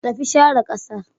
Ku tafi share ƙasar